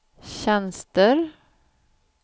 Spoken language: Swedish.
tjänster